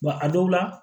a dɔw la